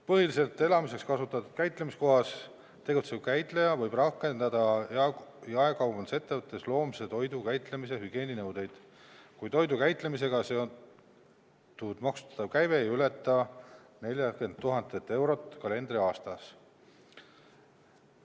Põhiliselt elamiseks kasutatud käitlemiskohas tegutsev käitleja võib rakendada jaekaubandusettevõttes loomse toidu käitlemise hügieeninõudeid, kui toidu käitlemisega seotud maksustatav käive ei ületa 40 000 eurot kalendriaastas.